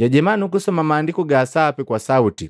Jajema nukusoma Maandiku ga Sapi kwa sauti.